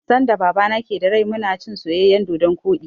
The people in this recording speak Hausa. Sanda Babana ke da rai mu na cin soyayyen dodon koɗi